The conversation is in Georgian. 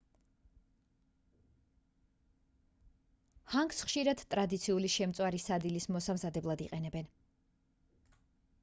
ჰანგს ხშირად ტრადიციული შემწვარი სადილის მოსამზადებლად იყენებენ